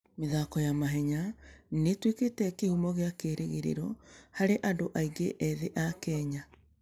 mĩthako ya mahenya nĩ ĩtuĩkĩte kĩhumo kĩa kĩĩrĩgĩrĩro harĩ andũ aingĩ ethĩ a Kenya.